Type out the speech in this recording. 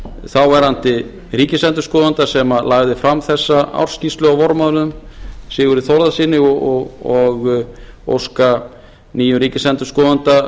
þáverandi ríkisendurskoðana sem lagði fram þessa ársskýrslu á vormánuðum sigurði þórðarsyni og óska nýjum ríkisendurskoðanda